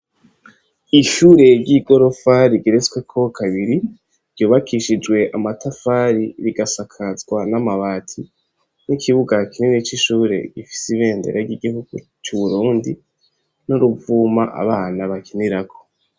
Ishure ry'igorofa rigeretsweko kabiri ryubakishijwe amatafari rigasakazwa n'amabati, n'ikibuga kinini c'ishure kirimwo ibendera ry'igihugu c'uburundi n'uruvuma abana bakinirako.